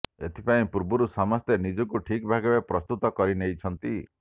ଏଥିପାଇଁ ପୂର୍ବରୁ ସମସ୍ତେ ନିଜକୁ ଠିକ୍ ଭାବେ ପ୍ରସ୍ତୁତ କରି ନେଇଥାନ୍ତି